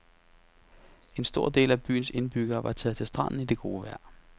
En stor del af byens indbyggere var taget til stranden i det gode vejr.